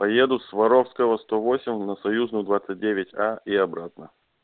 поеду с воровского сто восемь на союзную двадцать девять а и обратно